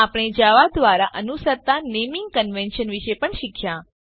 આપણે જાવા દ્વારા અનુસરતા નેમીંગ ક્ન્વેન્શ્ન્સ વિષે પણ શીખ્યા